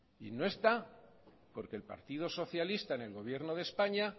y no está porque el partido socialista en el gobierno de españa